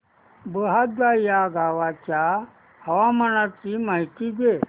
बहादा या गावाच्या हवामानाची माहिती दे